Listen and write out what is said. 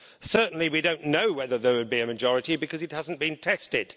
Certainly we don't know whether there would be a majority, because it hasn't been tested.